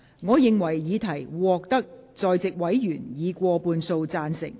我認為議題獲得在席委員以過半數贊成。